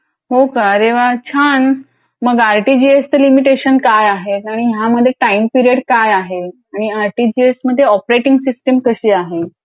हो का. अरे वा छान.मग आरटीजीएसच लिमिटेशन काय आहे आणि ह्यामध्ये टाईम पिरियड काय आहे आणि आरटीजीएस मध्ये ऑपरेटिंग सिस्टीम कशी आहे.